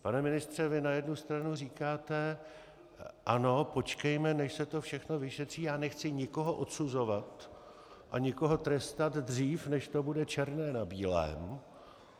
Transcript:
Pane ministře, vy na jednu stranu říkáte ano, počkejme, než se to všechno vyšetří, já nechci nikoho odsuzovat a nikoho trestat dřív, než to bude černé na bílém.